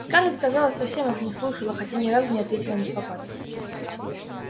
скарлетт казалось совсем их не слушала хотя ни разу не ответила невпопад